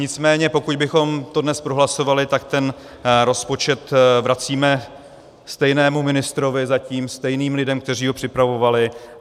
Nicméně pokud bychom to dnes prohlasovali, tak ten rozpočet vracíme stejnému ministrovi zatím, stejným lidem, kteří ho připravovali.